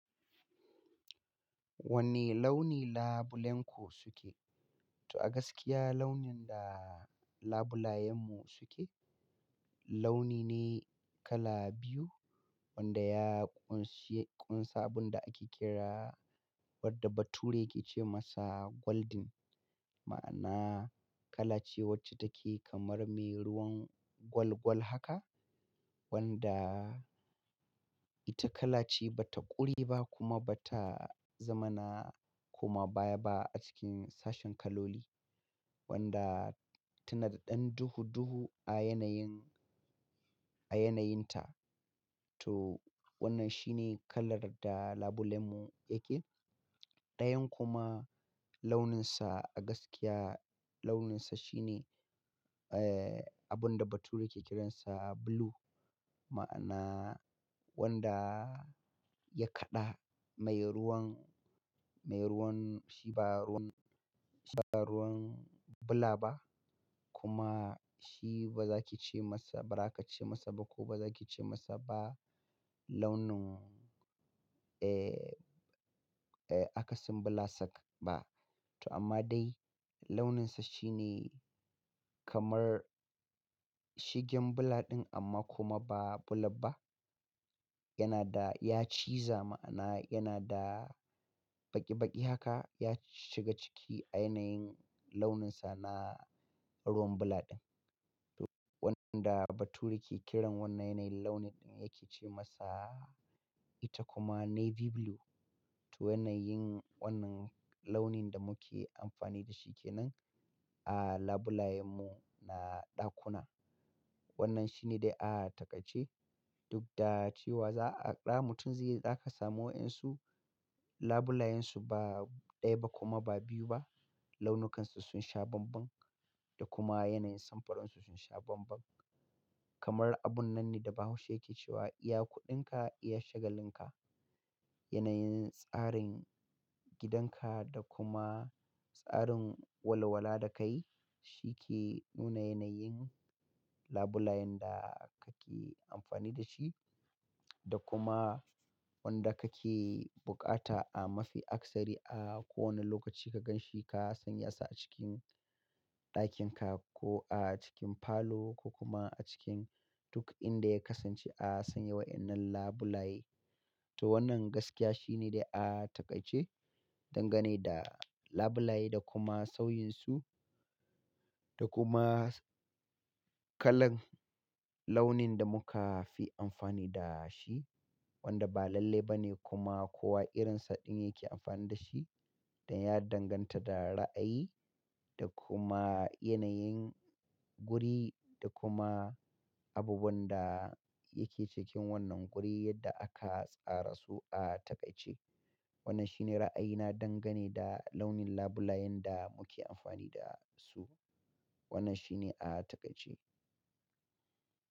Wani launi labulenko suke? To a gaskiya launin da labulayen mu suke, launi ne kala biyu wanda ya ƙunshe kunsan abun da ake kira wanda bature yake ce masa golden. Ma'ana kala ce wacce take kamar me ruwan gwal gwal haka wanda ita kala ce bata ƙuri ba kuma bata zamana kuma baya ba a cikin sashin kaloli. Wanda tana da ɗan duhu duhu a yanayin, a yanayinta. To wannan shine kalar da labulen mu yake. Ɗayan kuma launinsa a gaskiya launinsa shine, abun da bature yake kiransa blue. Ma'ana wanda ya kaɗa mai ruwan, mai ruwan shi ba ruwan, shi ba ruwan bula ba kuma shi baza ki ce masa, ba za ka ce masa ba ko baza ki ce masa ba launin, akasin bula sak ba. To amma dai launinsa shine kamar shigen bula ɗin amma kuma ba bula ba. Yana da ya ciiza ma'ana yana da baƙi baƙi haka. Ya shiga ciki a yanayin launinsa na ruwan bula ɗin. To wanda bature ke kiran wannan yanayin launi ɗin yake ce masa ita kuma navy blue. To yanayin wannan launin da muke amfani da shi kenan a labulayen mu na ɗakuna. Wannan shine dai a takaice duk da cewa za'a ɗa mutum zai za ka samu wayansu labulayansu ba ɗaya ba kuma ba biyu ba. Launukansu sun sha banban da kuma yanayin samfuransu sun sha banban. Kamar abun nan ne da bahaushe yake cewa iya kuɗinka iya shagalin ka. Yanayin tsarin gidan ka da kuma tsarin walawala da kayi, shi ke nuna yanayin labulayen da kake amfani da shi da kuma wanda kake buƙata a mafi akasari a kowane lokaci ka gan shi ka sanya sa a cikin ɗakin ka ko a cikin falo ko kuma a cikin duk inda ya kasance a sanya wayannan labulaye. To wannan gaskiya shine dai a takaice dangane da labulaye da kuma sauyinsu da kuma kalan launin da muka fi amfani da shi wanda ba lalle ba ne kuma kowa irinsa ɗin yake amfani da shi. Dan ya danganta da ra'ayi da kuma yanayin guri da kuma abubuwan da yake cikin wannan guri yadda aka tsara su a takaice. Wannan shine ra'ayina dangane da launin labulayen da muke amfani da su. Wannan shine a takaice.